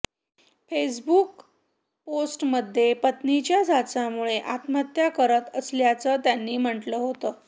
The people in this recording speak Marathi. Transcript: फेसबुक पोस्टमध्ये पत्नीच्या जाचामुळे आत्महत्या करत असल्याचं त्यांनी म्हटलं होतं